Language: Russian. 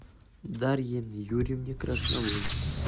дарье юрьевне красновой